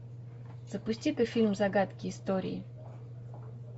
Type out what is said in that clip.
запусти ка фильм загадки истории